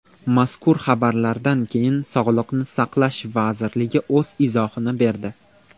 Mazkur xabarlardan keyin Sog‘liqni saqlash vazirligi o‘z izohini berdi .